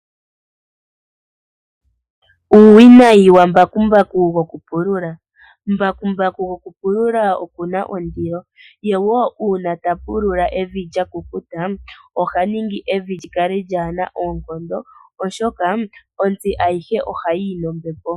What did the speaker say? Uuwinayi wambakumbaku yokupulula. Mbakumbaku gokupulula okuna ondilo ye wo uuna tapulula evi lyakukuta ohaningi evi lyikale lyaana oonkondo oshoka ontsi ayihe oha yiyi nombepo.